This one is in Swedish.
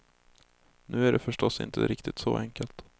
Nu är det förstås inte riktigt så enkelt.